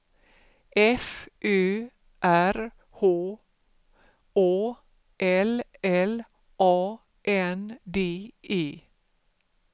F Ö R H Å L L A N D E